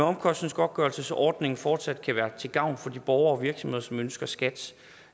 omkostningsgodtgørelsesordningen fortsat kan være til gavn for de borgere og virksomheder som ønsker skats